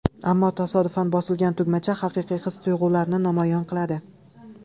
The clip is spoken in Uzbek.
Ammo tasodifan bosilgan tugmacha haqiqiy his-tuyg‘ularni namoyon qiladi.